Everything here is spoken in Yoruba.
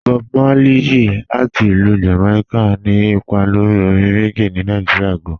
Bọ̀b Márlẹ̀yì, láti Ilú Jamaica, ni ìpà lórí òrìṅ reggae ní Nàìjíríà gàn.